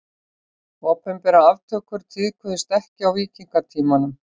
Opinberar aftökur tíðkuðust ekki á víkingatímanum.